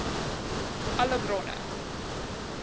alle bronne